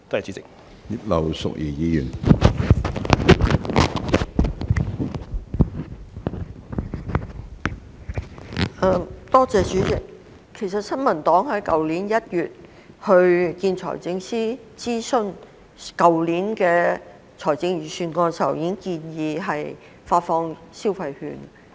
主席，其實新民黨在去年1月就去年財政預算案的諮詢見財政司司長時，已建議發放消費券。